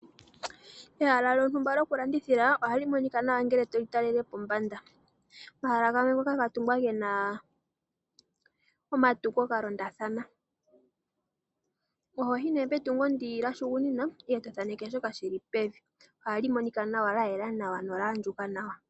Ehala lyotumba lyoku landithila ohalimonika nawa ongele toli talele pombanda, omahala ngamwe ngoka ngatungwa ngena omatungo ngalondathana ohoyi ne petungo lyahugunina etothaneke shoka shili pevi ohalimonika lyayela nawa nolyandjuka Nawa.